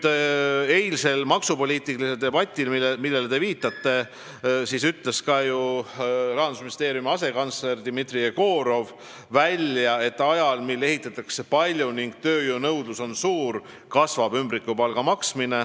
Eilsel maksupoliitilisel debatil, millele te viitasite, ütles ka ju Rahandusministeeriumi asekantsler Dmitri Jegorov välja, et ajal, mil ehitatakse palju ning tööjõu nõudlus on suur, kasvab ümbrikupalga maksmine.